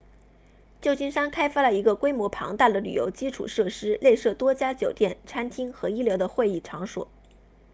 旧金山开发了一个规模庞大的旅游基础设施内设多家酒店餐厅和一流的会议场所